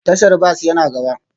Tashar bas yana gaba